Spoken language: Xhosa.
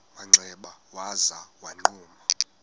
manxeba waza wagquma